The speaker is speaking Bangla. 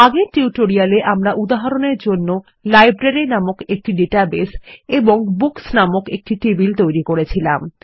আগের টিউটোরিয়ালে আমরা উদাহরণের জন্য লাইব্রেরি নামক একটি ডাটাবেস এবং বুকস নামক একটি টেবিল তৈরী করেছিলাম